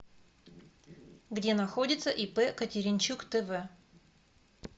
где находится ип катеринчук тв